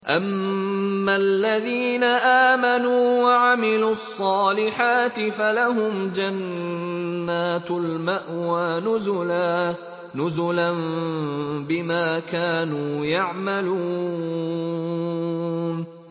أَمَّا الَّذِينَ آمَنُوا وَعَمِلُوا الصَّالِحَاتِ فَلَهُمْ جَنَّاتُ الْمَأْوَىٰ نُزُلًا بِمَا كَانُوا يَعْمَلُونَ